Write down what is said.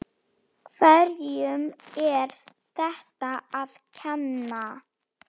Hverjum er þetta að kenna?